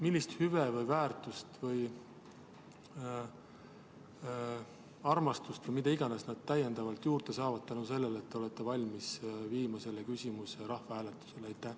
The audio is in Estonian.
Millist hüve või väärtust või armastust või mida iganes nad täiendavalt juurde saavad tänu sellele, et te olete valmis panema selle küsimuse rahvahääletusele?